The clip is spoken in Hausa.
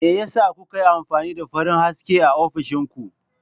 Me yasa kuka yi amfani da farin haske a ofishin ku?